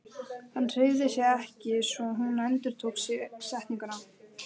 Hann hreyfði sig ekki svo hún endurtók setninguna.